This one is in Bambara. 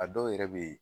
A dɔw yɛrɛ bɛ ye